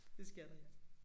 Det skal der ja